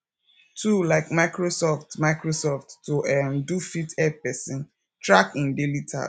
tool like microsoft microsoft to um do fit help person track im daily tasks